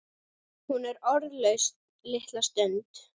Hún er orðlaus litla stund.